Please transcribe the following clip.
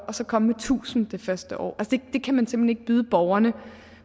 så komme med tusind det første år det kan man simpelt byde borgerne